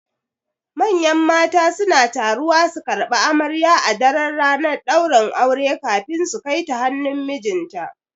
Manyan mata suna taruwa su karɓi amarya a daran ranar ɗaurin aure kafin su Kaita hannun mijinta